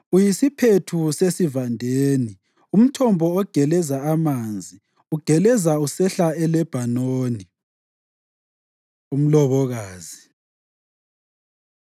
Uyisiphethu sesivandeni, umthombo ogeleza amanzi ugeleza usehla eLebhanoni. Umlobokazi